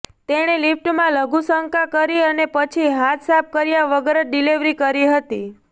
તેણે લિફ્ટમાં લઘુશંકા કરી અને પછી હાથ સાફ કર્યા વગર જ ડિલિવરી કરી હતી